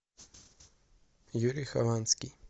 юрий хованский